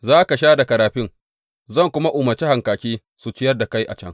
Za ka sha daga rafin, zan kuma umarci hankaki su ciyar da kai a can.